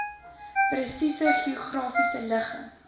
presiese geografiese ligging